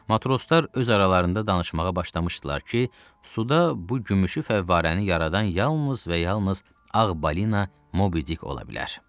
Matroslar öz aralarında danışmağa başlamışdılar ki, suda bu gümüşü fəvvarəni yaradan yalnız və yalnız ağ balina Mobidik ola bilər.